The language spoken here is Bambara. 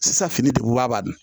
Sisan fini degu b'a kan